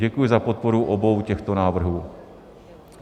Děkuji za podporu obou těchto návrhů.